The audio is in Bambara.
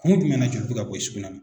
Kun jumɛn na joli bɛ ka bɔ i sugunɛ na?